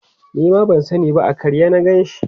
Nima ban sani ba a karye na Ganshi